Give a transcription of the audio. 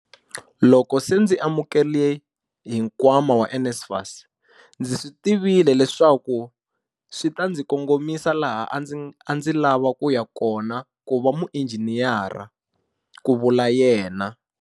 Loko se ndzi lemukile hi nkwama wa NSFAS, ndzi swi tivile leswaku swi ta ndzi kongomisa laha a ndzi lava ku ya kona ku va muinjhiniyara, ku vula yena.